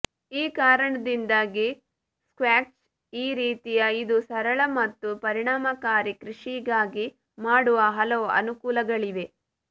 ಈ ಕಾರಣದಿಂದಾಗಿ ಸ್ಕ್ವ್ಯಾಷ್ ಈ ರೀತಿಯ ಇದು ಸರಳ ಮತ್ತು ಪರಿಣಾಮಕಾರಿ ಕೃಷಿಗಾಗಿ ಮಾಡುವ ಹಲವು ಅನುಕೂಲಗಳಿವೆ